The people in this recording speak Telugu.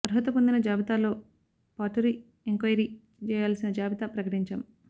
అర్హుత పొందిన జాబితాతో పాటు రీ ఎంక్వైరీ జేయాల్సిన జాబితా ప్రకటించాం